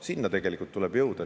Sinna tuleb tegelikult välja jõuda.